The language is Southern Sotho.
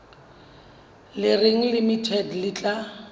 le reng limited le tla